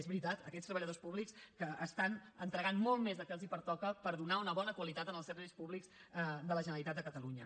és veritat a aquests treballadors públics que estan entregant molt més del que els pertoca per donar una bona qualitat en els serveis públics de la generalitat de catalunya